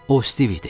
O Stiv idi.